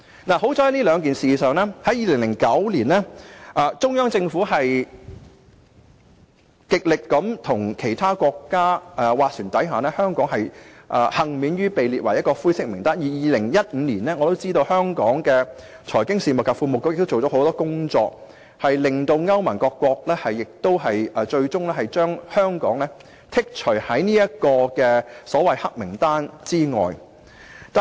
幸好，就該兩次事件，中央政府在2009年極力與其他國家斡旋，使香港幸免於被列入灰色名單，而在2015年，我知道香港的財經事務及庫務局做了很多工作，令歐盟各國最終將香港剔除於所謂"黑名單"之外。